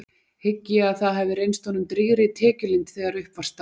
Hygg ég að það hafi reynst honum drýgri tekjulind þegar upp var staðið.